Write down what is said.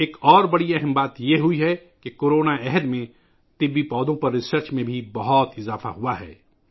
ایک اور بہت اہم بات یہ ہوئی ہے کہ کورونا کے دور میں ادویاتی پودوں پر تحقیق میں بہت اضافہ ہوا ہے